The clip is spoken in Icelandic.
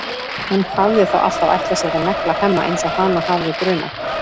Hún hafði þá alltaf ætlað sér að negla Hemma eins og hana hafði grunað.